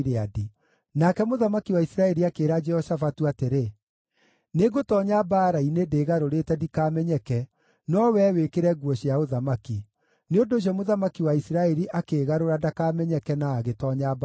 Nake mũthamaki wa Isiraeli akĩĩra Jehoshafatu atĩrĩ, “Nĩngũtoonya mbaara-inĩ ndĩĩgarũrĩte ndikamenyeke no wee wĩkĩre nguo cia ũthamaki.” Nĩ ũndũ ũcio mũthamaki wa Isiraeli akĩĩgarũra ndakamenyeke na agĩtoonya mbaara-inĩ.